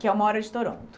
Que é uma hora de Toronto.